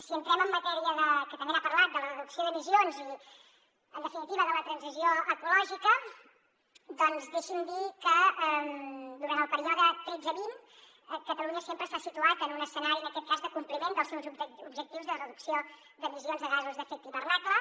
si entrem en matèria que també n’ha parlat de la reducció d’emissions i en definitiva de la transició ecològica doncs deixi’m dir que durant el període tretze vint catalunya sempre s’ha situat en un escenari en aquest cas de compliment dels seus objectius de reducció d’emissions de gasos d’efecte hivernacle